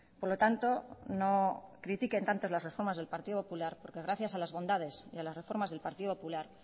por lo tanto no critiquen tanto las reformas del partido popular porque gracias a las bondades y a las reformas del partido popular